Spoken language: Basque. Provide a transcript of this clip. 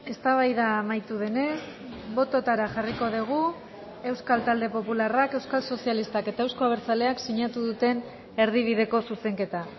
eztabaida amaitu denez bototara jarriko dugu euskal talde popularrak euskal sozialistak eta eusko abertzaleak sinatu duten erdi bideko zuzenketa